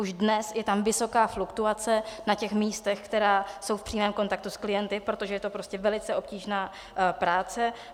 Už dnes je tam vysoká fluktuace na těch místech, která jsou v přímém kontaktu s klienty, protože je to prostě velice obtížná práce.